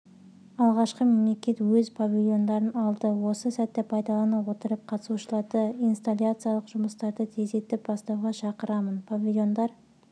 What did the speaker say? алғашқы мемлекет өз павильондарын алды осы сәтті пайдалана отырып қатысушыларды инсталляциялық жұмыстарды тездетіп бастауға шақырамын павильондар